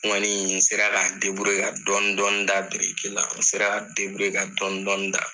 N kɔni n sera ka n ka dɔni dɔni da biriki la n sera ka n ka dɔni dɔni da.